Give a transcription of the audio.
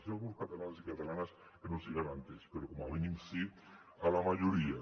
hi ha alguns catalans i catalanes que no els hi garanteix però com a mínim sí a la majoria